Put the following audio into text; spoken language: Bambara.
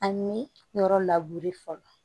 Ani yɔrɔ labure fɔlɔ